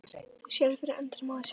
Þú sérð fyrir endanum á þessu?